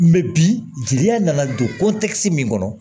bi jeliya nana don min kɔnɔ